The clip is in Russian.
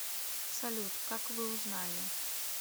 салют как вы узнали